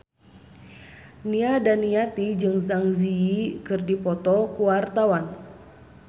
Nia Daniati jeung Zang Zi Yi keur dipoto ku wartawan